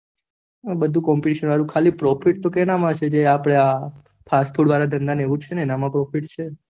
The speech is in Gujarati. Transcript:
બધું copmetition વાળું છે, ખાલી profit કેમાં છે fast food નું ધંધા માં profit છે